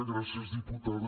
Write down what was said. gràcies diputada